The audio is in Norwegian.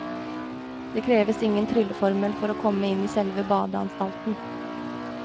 Det kreves ingen trylleformel for å komme inn i selve badeanstalten.